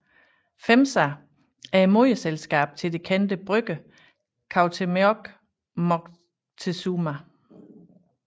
FEMSA er moderselskabet til det kendte brygger Cuauhtémoc Moctezuma